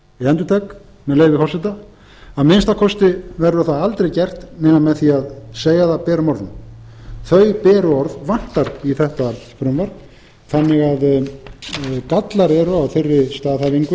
haraldssonar ég endurtek með leyfi forseta að minnsta kosti verður það aldrei gert nema með því að segja það berum orðum þau beru orð vantar í þetta frumvarp þannig að gallar eru á